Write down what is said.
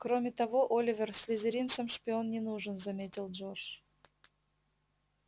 кроме того оливер слизеринцам шпион не нужен заметил джордж